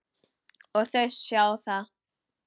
Og þau sjá það.